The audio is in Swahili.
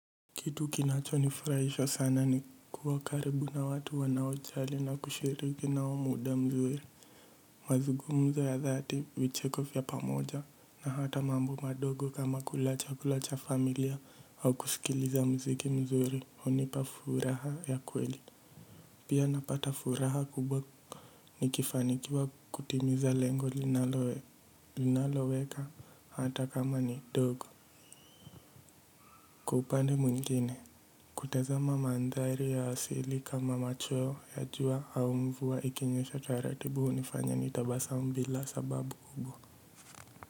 Kitu kinacho nifurahisha sana ni kuwakaribu na watu wanaojali na kushiriki nao muda mzuri. Mazungumzo ya dhati vicheko vya pamoja na hata mambo madogo kama kula chakulacha familia au kusikiliza mziki mzuri hunipa furaha ya kweli. Pia napata furaha kubwa nikifanikiwa kutimiza lengo linaloweka hata kama ni ndogo. Kwa upande mwingine kutazama mandhari ya asili kama macho ya jua au mvua ikinyesha taratibu hunifanya nitabasamu bila sababu kubwa.